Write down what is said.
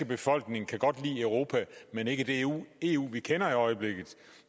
befolkning kan godt lide europa men ikke det eu eu vi kender i øjeblikket